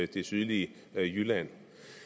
det sydlige jylland